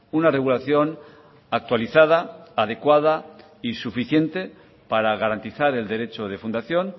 una regulación actualizada adecuada y suficiente para garantizar el derecho de fundación